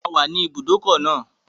A wà ní ibùdókọ̀ náà